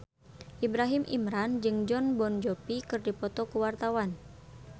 Ibrahim Imran jeung Jon Bon Jovi keur dipoto ku wartawan